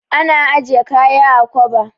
Ana ajiye kaya a kwaba.